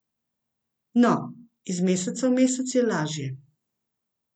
No, iz meseca v mesec je lažje.